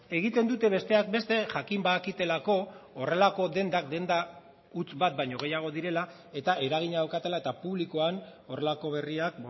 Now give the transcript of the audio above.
egiten dute besteak beste jakin badakitelako horrelako dendak denda huts bat baino gehiago direla eta eragina daukatela eta publikoan horrelako berriak